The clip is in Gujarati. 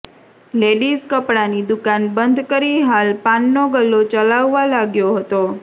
લેડીઝ કપડાની દુકાન બંધ કરી હાલ પાનનો ગલ્લો ચલાવવા લાગ્યો હતો